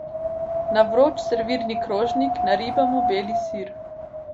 Na vroč servirni krožnik naribamo beli sir.